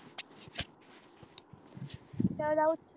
चल जाऊ